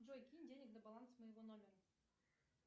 джой кинь денег на баланс моего номера